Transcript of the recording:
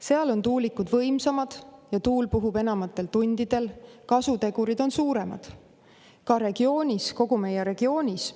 Seal on tuulikud võimsamad ja tuul puhub enamatel tundidel, kasutegurid on suuremad kogu meie regioonis.